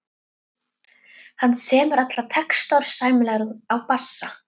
Hann semur alla texta og er sæmilegur á bassa.